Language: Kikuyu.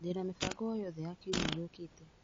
Ndĩna mĩbango o yothe ya kiumia gĩũkĩte .